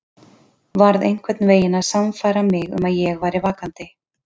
Varð einhvern veginn að sannfæra mig um að ég væri vakandi.